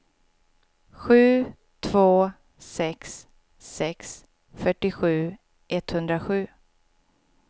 sju två sex sex fyrtiosju etthundrasju